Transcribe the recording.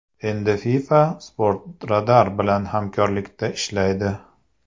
Endi FIFA Sportradar bilan hamkorlikda ishlaydi.